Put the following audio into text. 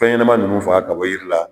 Fɛn ɲɛnɛma nunnu faga ka bɔ yiri la